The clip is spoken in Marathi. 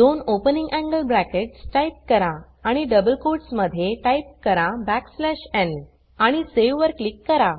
दोन ओपनिंग एंगल ब्रॅकेट्स टाइप करा आणि डबल कोट्स मध्ये टाइप करा n आणि सावे वर क्लिक करा